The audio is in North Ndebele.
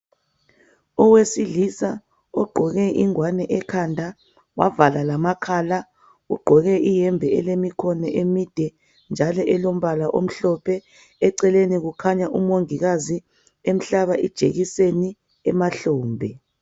Owesilisa ogqoke ingwane ekhanda wavala lamakhala. Ugqoke iyembe elemikhono emide njalo elombala omhlophe. Eceleni kukhanya umongikazi emhlaba ijekiseni emahlombe